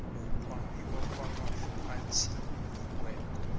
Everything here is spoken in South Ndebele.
wokwabiwa kwamafa atjhiyiweko